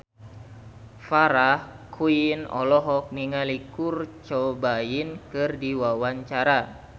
Farah Quinn olohok ningali Kurt Cobain keur diwawancara